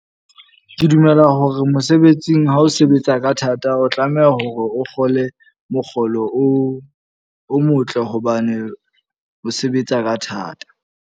Ke dumela hore mosebetsing ha o sebetsa ka thata o tlameha hore o kgole mokgolo o o motle. Hobane o sebetsa ka thata.